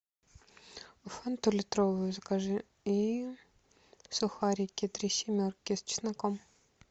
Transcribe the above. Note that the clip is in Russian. фанту литровую закажи и сухарики три семерки с чесноком